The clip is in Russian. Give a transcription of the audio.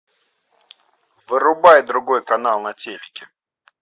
вырубай другой канал на телике